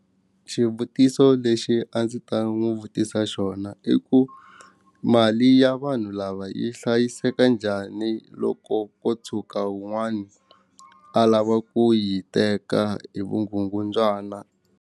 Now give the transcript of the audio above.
Xivutiso lexi a ndzi ta n'wi vutisa xona i ku mali ya vanhu lava yi hlayiseka njhani loko ko tshuka wun'wani a lava ku yi teka hi vugungundzwana.